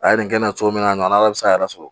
A ye nin kɛ n na cogo min na ala bɛ se k'a yɛrɛ sɔrɔ